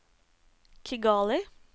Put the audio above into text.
Kigali